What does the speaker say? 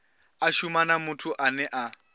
a shuma na muthu ane